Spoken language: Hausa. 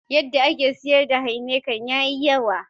Yadda ake siyar da Heineken ya yi yawa.